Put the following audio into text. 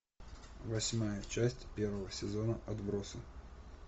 восьмая часть первого сезона отбросы